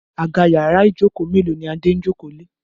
Àga yàrá Ijoko melo ní Ade ń joko lẹ.